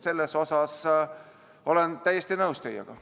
Selles olen teiega täiesti nõus.